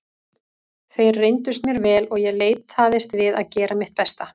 Þeir reyndust mér vel og ég leitaðist við að gera mitt besta.